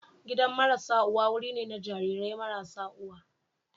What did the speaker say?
Gidan marasa uwa wuri ne na jarirai marasa uwa.